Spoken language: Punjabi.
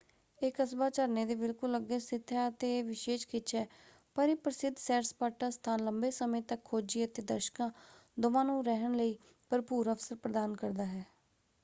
ਇਹ ਕਸਬਾ ਝਰਨੇ ਦੇ ਬਿਲਕੁਲ ਅੱਗੇ ਸਥਿਤ ਹੈ ਅਤੇ ਇਹ ਵਿਸ਼ੇਸ਼ ਖਿੱਚ ਹੈ ਪਰ ਇਹ ਪ੍ਰਸਿਧ ਸੈਰ-ਸਪਾਟਾ ਸਥਾਨ ਲੰਬੇ ਸਮੇਂ ਤੱਕ ਖੋਜੀ ਅਤੇ ਦਰਸ਼ਕਾਂ ਦੋਵਾਂ ਨੂੰ ਰਹਿਣ ਲਈ ਭਰਪੂਰ ਅਵਸਰ ਪ੍ਰਦਾਨ ਕਰਦਾ ਹੈ।